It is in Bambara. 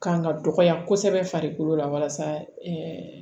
Kan ka dɔgɔya kosɛbɛ farikolo la walasa